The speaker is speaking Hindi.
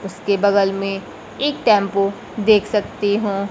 उसके बगल में एक टेंपो देख सकती हूँ।